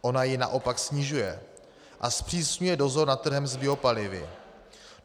Ona ji naopak snižuje a zpřísňuje dozor nad trhem s biopalivy.